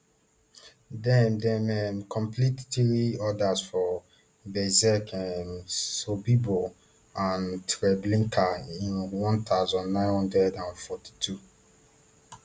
dem dem um complete three odas for belzec um sobibor and treblinka in one thousand, nine hundred and forty-two